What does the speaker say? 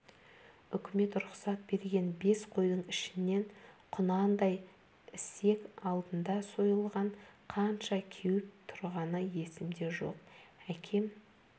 үкімет рұқсат берген бес қойдың ішінен құнандай ісек алдында сойылған қанша кеуіп тұрғаны есімде жоқ әкем